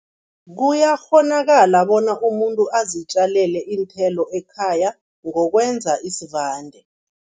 Kuyakghonakala bona umuntu azitjalele iinthelo ekhaya ngokwenza isivande.